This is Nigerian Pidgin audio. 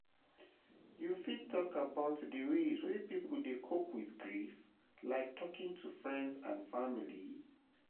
you fit talk about di ways wey people dey cope with grief, like talking to friends and family?